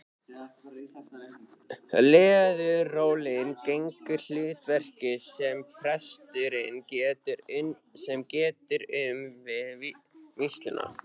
Leðurólin gegnir hlutverkinu sem presturinn getur um við vígsluna.